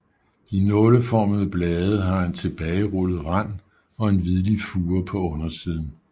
De nåleformede blade har en tilbagerullet rand og en hvidlig fure på undersiden